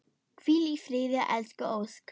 Hvíl í friði elsku Ósk.